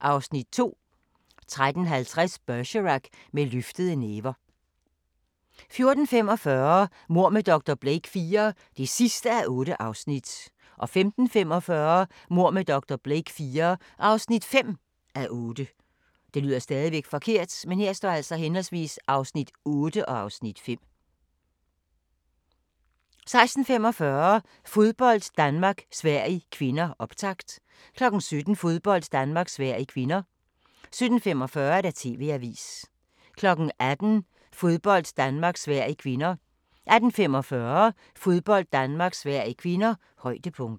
(Afs. 2) 13:50: Bergerac: Med løftede næver 14:45: Mord med dr. Blake IV (8:8) 15:45: Mord med dr. Blake IV (5:8) 16:45: Fodbold: Danmark-Sverige (k) - optakt 17:00: Fodbold: Danmark-Sverige (k) 17:45: TV-avisen 18:00: Fodbold: Danmark-Sverige (k) 18:45: Fodbold: Danmark-Sverige (k) - højdepunkter